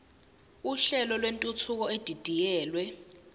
uhlelo lwentuthuko edidiyelwe